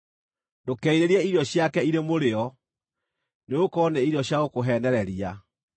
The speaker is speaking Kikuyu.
Ndũkerirĩrie irio ciake irĩ mũrĩo, nĩgũkorwo nĩ irio cia gũkũheenereria.